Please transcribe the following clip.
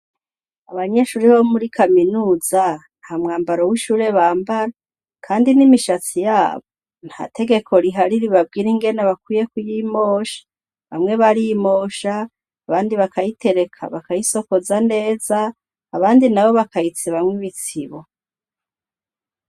Abanyeshuri bo muri kaminuza nta mwambaro w'ishure bambara, kandi n'imishatsi yabo nta tegeko ribabwira ingene bakwiye kuyimosha, bamwe barimosha abandi bakayitereka bakayisokoza neza, abandi nabo bakayitsibamwo ibitsibo.